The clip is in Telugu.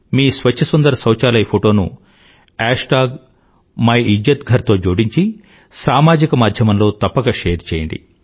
మీ స్వచ్ఛ సుందర్ సౌచాలయ్ ఫోటోను MylzzatGharతో జోడించి సామాజిక మాధ్యమంలో తప్పక షేర్ చేయండి